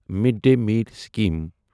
made دٔے میل scheme